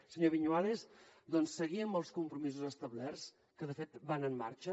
senyor viñuales doncs seguir amb els compromisos establerts que de fet van en marxa